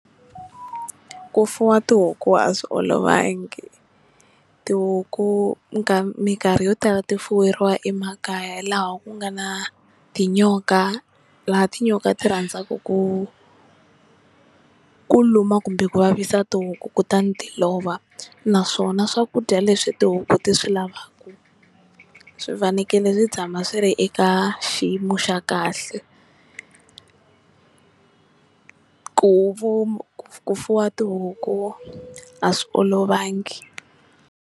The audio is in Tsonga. Ku fuwa tihuku a swi olovangi, tihuku minkarhi yo tala ti fuyeriwa emakaya laha ku nga na tinyoka laha tinyoka ti rhandzaka ku ku luma kumbe ku vavisa tihuku kutani ti lova naswona swakudya leswi tihuku ti swi lavaka swi fanekele swi tshama swi ri eka xiyimo xa kahle ku ku fuwa tihuku a swi olovangi.